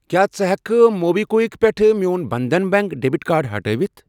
کیٛاہ ژٕ ہٮ۪کہٕ کھہ موبی کُوِک پٮ۪ٹھٕ میون بنٛدھن بیٚنٛک ڈیٚبِٹ کارڈ ہٹٲوِتھ؟